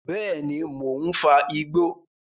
Bẹ́ẹ̀ni, mò ń fa igbó